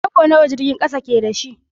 Tarago nawa jirgin kasan ke da shi?